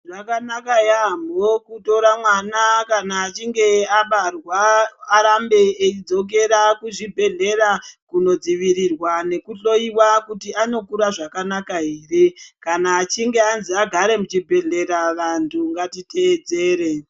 Zvakanaka yaamho kutora mwana kana achinge abarwa arambe eidzokera kuzvibhehleya kunodzivirirwa nekuhloyiwa kuti anokura zvakanaka ere, kana achinge anzi agare muchibhehleya vantu ngatiteedzere.